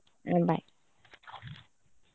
A bye .